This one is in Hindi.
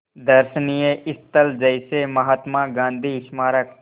दर्शनीय स्थल जैसे महात्मा गांधी स्मारक